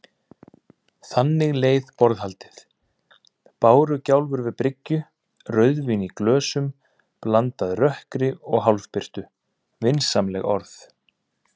Þannig leið borðhaldið: bárugjálfur við bryggju, rauðvín í glösum, blandað rökkri og hálfbirtu, vinsamleg orð.